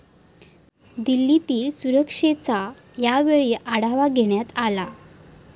दिल्लीतील सुरक्षेचा यावेळी आढावा घेण्यात आला.